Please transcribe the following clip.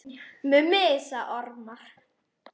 Mummi sagði ormar.